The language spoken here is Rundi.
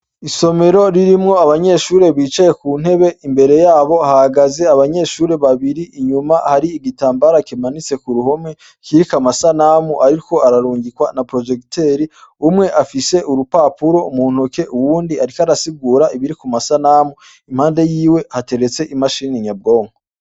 Isomero ririmwo abanyeshure bicaye ku ntebe, imbere yabo hahagaze abanyeshure babiri, inyuma hari igitambara kimanitse k'uruhome, kiriko amasanamu ariko ararungikwa na porojegiteri. Umwe afise urupapuro muntoke, uwundi ariko arasigura ibiri ku masanamu. Impande yiwe hateretse imashini nyabwonko.